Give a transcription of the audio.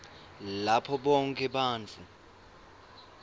lapho bonkhe bantfu